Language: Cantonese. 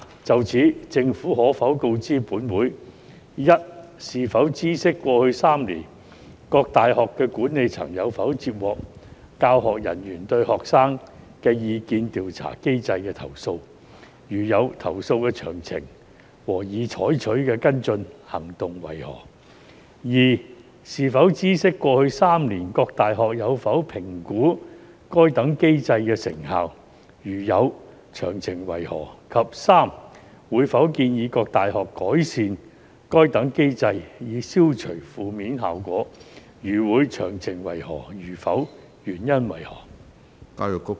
就此，政府可否告知本會：一是否知悉，過去3年，各大學的管理層有否接獲教學人員對學生意見調查機制的投訴；如有，投訴的詳情和已採取的跟進行動為何；二是否知悉，過去3年，各大學有否評估該等機制的成效；如有，詳情為何；及三會否建議各大學改善該等機制，以消除負面效果；如會，詳情為何；如否，原因為何？